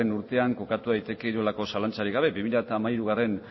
urtean kokatu daiteke inolako zalantzarik gabe bi mila hamairugarrena